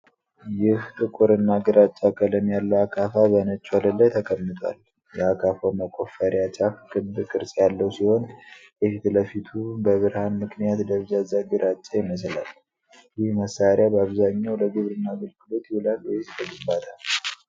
ይህ ጥቁርና ግራጫ ቀለም ያለው አካፋ በነጭ ወለል ላይ ተቀምጧል። የአካፋው መቆፈሪያ ጫፍ ክብ ቅርጽ ያለው ሲሆን፣ የፊት ለፊቱ በብርሃን ምክንያት ደብዛዛ ግራጫ ይመስላል። ይህ መሳሪያ በአብዛኛው ለግብርና አገልግሎት ይውላል ወይስ ለግንባታ?